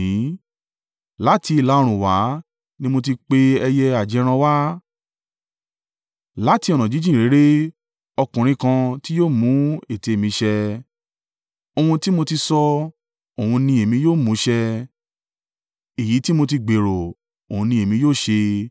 Láti ìlà-oòrùn wá ni mo ti pe ẹyẹ ajẹran wá; láti ọ̀nà jíjìn réré, ọkùnrin kan tí yóò mú ète mi ṣẹ. Ohun tí mo ti sọ, òun ni èmi yóò mú ṣẹ; èyí tí mo ti gbèrò, òun ni èmi yóò ṣe.